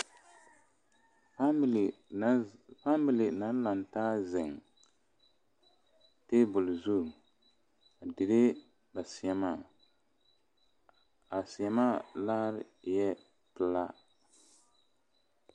Faamilii la lantaa zeŋ taabol zu a dire ba seɛmaa a seɛmaa laare eɛ pelaa